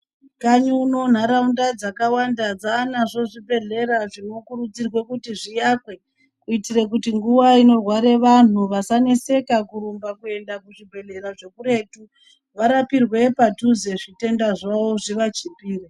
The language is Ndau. Kanyi uno nharaunda dzakawanda dzanazvo zvibhedhlera zvinokurudzirwe kuti zviakwe kuitire kuti nguwa inorware vanhu vasaneseka kuramba kuenda kuzvibhehlera zvekuretu, varapirwe padhuze zvitenda zvavo zvivachipire.